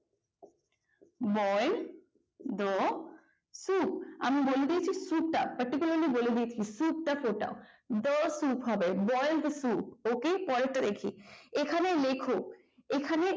boel the soup আমি বলে দিয়েছি soup টা particularly soup টা ফোটাও the soup হবে boil the soup ok পরেরটা দেখি এখানে লেখো এখানে